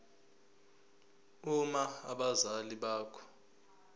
uma abazali bakho